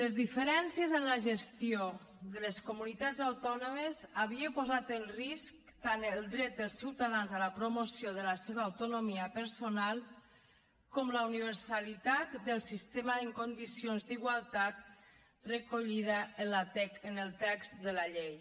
les diferències en la gestió de les comunitats autònomes havia posat en risc tant el dret dels ciutadans a la promoció de la seva autonomia personal com la universalitat del sistema en condicions d’igualtat recollida en el text de la llei